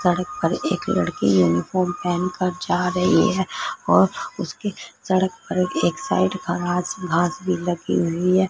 सड़क पर एक लड़की यूनिफार्म पेहन कर जा रही है और उसके सड़क पर एक साइड पर घास-घास भी लगी हुई है।